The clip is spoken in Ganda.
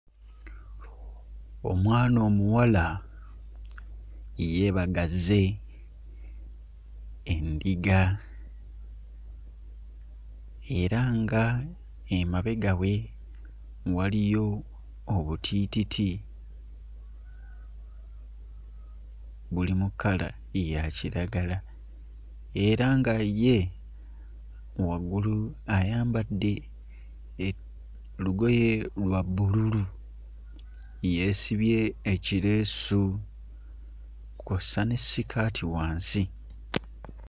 Omwana omuwala yeebagazze endiga era nga emabega we waliyo obutiititi buli mu kkala ya kiragala era nga ye waggulu ayambadde e lugoye lwa bbululu yeesibye ekireesu kw'ossa ne ssikaati wansi.